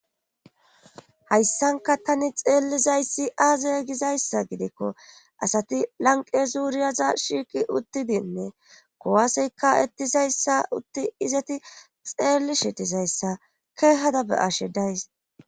Hayssanka tani xeellizayssi aazay gizayssa gidikko asati lanqe zuuriyaza shiiqi uttidinne kowasyka ettizayssa utti izeti xeelli shetizayssa keehadabe ashe days.